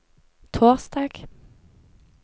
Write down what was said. torsdag